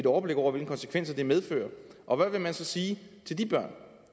overblik over hvilke konsekvenser det medfører og hvad vil man så sige til de børn